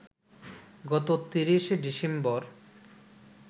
গত ৩০ ডিসেম্বর